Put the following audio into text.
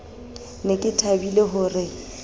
ne ke thabile ho re